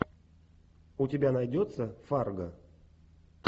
у тебя найдется фарго